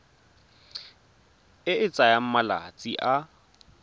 e e tsayang malatsi a